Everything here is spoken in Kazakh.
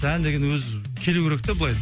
ән деген өзі келу керек те былай